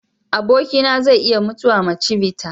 Abokina zai iya mutuwa ma chivita.